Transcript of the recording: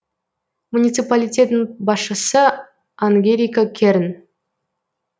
муниципалитеттің басшысы ангелика керн